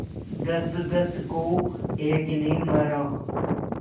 दसदस को एक ने मारा